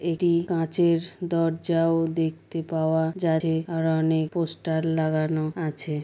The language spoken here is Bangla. এটি কাঁচের দরজাও দেখতে পাওয়া যাচ-এ আর অনেক পোস্টার লাগানো আছে ।